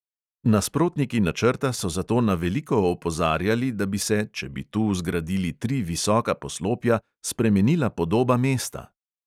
Nasprotniki načrta so zato na veliko opozarjali, da bi se, če bi tu zgradili tri visoka poslopja, spremenila podoba mesta.